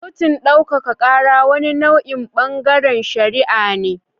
Kotun daukaka kara wani nau'in bangaren shari'a ne.